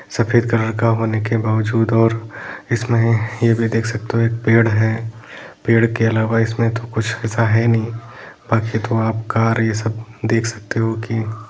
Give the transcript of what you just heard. सफ़ेद कलर का होने के बावजूद और इसमें ये भी देख सकते हो एक पेड़ है पेड़ के अलावा इसमें तो कुछ ऐसा है नहीं बाकी तो आप कार ये सब देख सकते हो की --